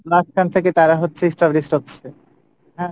মাঝখান থেকে তারা হচ্ছে established হচ্ছে, হ্যাঁ?